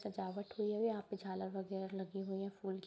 सजावट हुई है और यहाँ पे झालर वगेरा लगे हुए है फूल के |